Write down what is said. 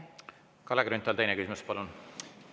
Kalle Grünthal, teine küsimus, palun!